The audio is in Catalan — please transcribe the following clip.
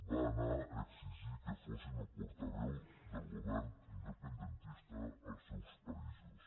va anar a exigir que fossin portaveus del govern independentista als seus països